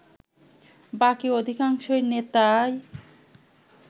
বাকি অধিকাংশ নেতাই